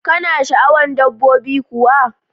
kana sha'awan dabbobi kuwa?